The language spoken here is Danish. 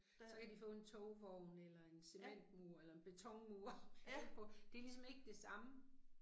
Der. Ja. Ja